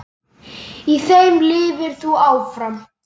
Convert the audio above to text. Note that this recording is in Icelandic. Í þeim lifir þú áfram.